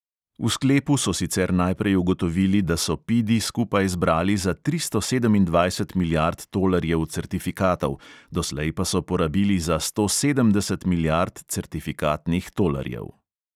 V sklepu so sicer najprej ugotovili, da so pidi skupaj zbrali za tristo sedemindvajset milijard tolarjev certifikatov, doslej pa so porabili za sto sedemdeset milijard certifikatnih tolarjev.